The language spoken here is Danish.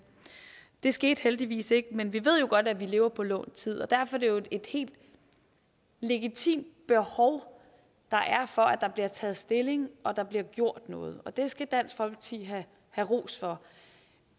det skete heldigvis ikke men vi ved jo godt at vi lever på lånt tid derfor er det jo et helt legitimt behov der er for at der bliver taget stilling og bliver gjort noget det skal dansk folkeparti have ros for